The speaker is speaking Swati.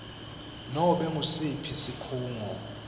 nobe ngusiphi sikhungo